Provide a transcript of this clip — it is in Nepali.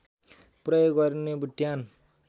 प्रयोग गरिने बुट्यान